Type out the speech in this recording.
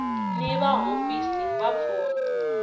ni va hofisi va vapfuni